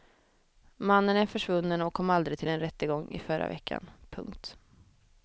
Mannen är försvunnen och kom aldrig till en rättegång i förra veckan. punkt